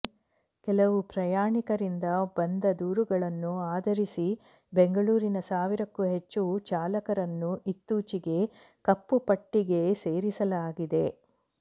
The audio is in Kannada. ಕೆಲವು ಪ್ರಯಾಣಿಕರಿಂದ ಬಂದ ದೂರುಗಳನ್ನು ಆಧರಿಸಿ ಬೆಂಗಳೂರಿನ ಸಾವಿರಕ್ಕೂ ಹೆಚ್ಚು ಚಾಲಕರನ್ನು ಇತ್ತೂಚೆಗೆ ಕಪ್ಪು ಪಟ್ಟಿಗೆ ಸೇರಿಸಲಾಗಿದೆ